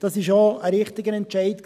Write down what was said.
Dies war auch ein richtiger Entscheid.